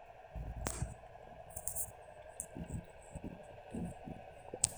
aidipa atalaa ropiyani e gym nemekure aidim ayeu, ekidim ake atushukoki embata